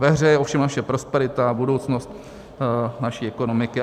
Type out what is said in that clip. Ve hře je ovšem naše prosperita a budoucnost naší ekonomiky.